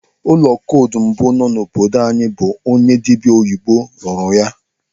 Ụlọ kọdụ mbụ nọ n'obodo anyị bụ onye dibịa oyibo rụrụ ya.